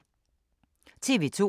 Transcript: TV 2